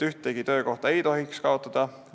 Ühtegi töökohta ei tohiks kaotada.